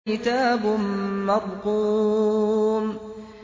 كِتَابٌ مَّرْقُومٌ